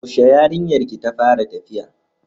Yaushe yarinyar ki ta fara tafiya?